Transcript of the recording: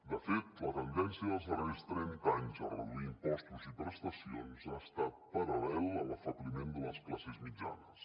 de fet la tendència dels darrers trenta anys a reduir impostos i prestacions ha estat paral·lela a l’afebliment de les classes mitjanes